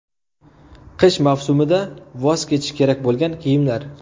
Qish mavsumida voz kechish kerak bo‘lgan kiyimlar .